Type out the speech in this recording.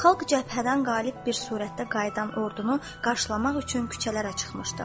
Xalq cəbhədən qalib bir surətdə qayıdan ordunu qarşılamaq üçün küçələrə çıxmışdı.